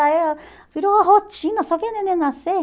Aí ah virou uma rotina, só via neném nascer.